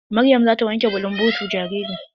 Maryam zata wanke bulunbotu jaririn.